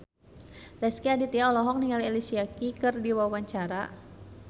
Rezky Aditya olohok ningali Alicia Keys keur diwawancara